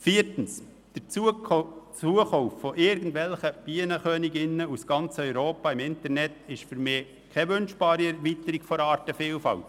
Viertens ist der Zukauf von Bienenköniginnen aus ganz Europa im Internet für mich keine wünschbare Erweiterung der Artenvielfalt.